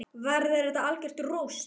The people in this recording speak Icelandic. Verður þetta algjört rúst???